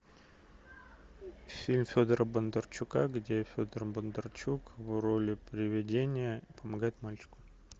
фильм федора бондарчука где федор бондарчук в роли приведения помогает мальчику